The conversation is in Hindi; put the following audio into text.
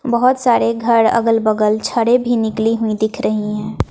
बहोत सारे घर अगल बगल छड़े भी निकली हुई दिख रहीं हैं।